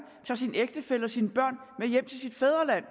tager sin ægtefælle og sine børn med hjem til sit fædreland